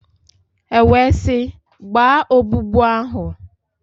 E wee sị, gbaa ogbugbu ahụ!